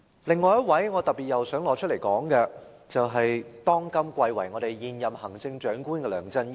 另一位我想特別提及的人，是貴為現任行政長官的梁振英。